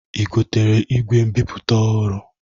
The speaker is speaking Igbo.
I gotere igwe mbipụta ọhụru?